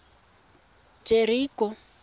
jeriko